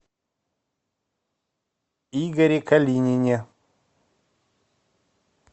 игоре калинине